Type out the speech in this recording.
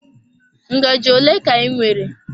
Ngaji ole ka ị nwere?